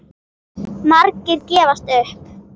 Margir gefast upp.